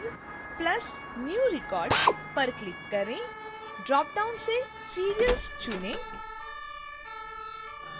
फिर + new record पर click करें ड्रॉपडाउन से serials चुनें